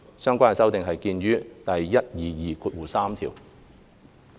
相關修訂見於第1223條。